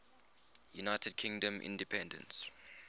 united kingdom independence